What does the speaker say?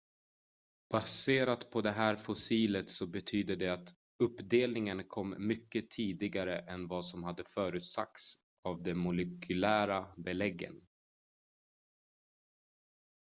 """baserat på det här fossilet så betyder det att uppdelningen kom mycket tidigare än vad som har förutsagts av de molekylära beläggen.